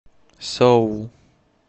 соул